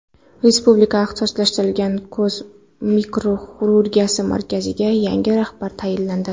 Respublika ixtisoslashtirilgan ko‘z mikroxirurgiyasi markaziga yangi rahbar tayinlandi.